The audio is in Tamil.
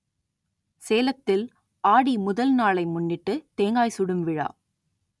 சேலத்தில் ஆடி முதல் நாளை முன்னிட்டு தேங்காய் சுடும் விழா